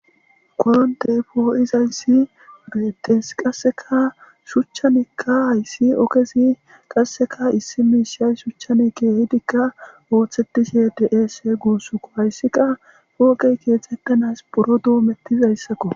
Koroniteyi pohozayiss betees.qasekka shuchchanikka hayiss ogezzi qasekka issi mishshanni shuchchanni kehidikka oththetishshe de'es gusukko.hayiss qaa poqeyi kexxatanas buro domettizayissakko.